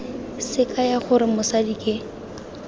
se kaya gore mosadi ke